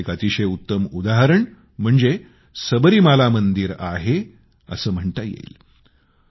याचे एक अतिशय उत्तम उदाहरण म्हणजे सबरीमाला मंदिर आहे असं म्हणता येईल